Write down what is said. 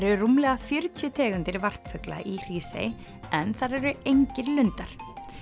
eru rúmlega fjörutíu tegundir varpfugla í Hrísey en þar eru engir lundar